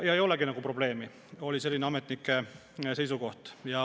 Ei olegi nagu probleemi, selline oli ametnike seisukoht.